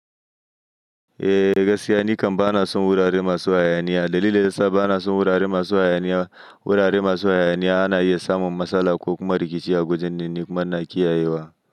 Eh gaskiya nikam ba na san wurare masu hayaniya, dalilin dayasa bana son wurare masu hayaniya, wurare masu hayaniya ana iya samun matsala ko kuma rikici a wajennan, nikuma ina kiyayewa.